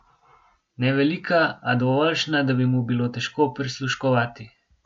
Ne velika, a dovoljšna, da bi mu bilo težko prisluškovati.